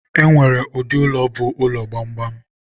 e nwere ụdị ụlọ bụ ụlọ gbamgbam.